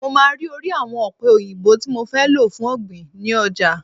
Mo máa ma rí orí àwọn ọ̀pẹ òyìnbó tí mo fẹ́ lò fún ọ̀gbìn ni ọjà.